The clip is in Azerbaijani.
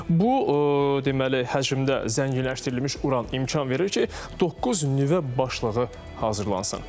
Amma bu, deməli, həcmdə zənginləşdirilmiş uran imkan verir ki, doqquz nüvə başlığı hazırlansın.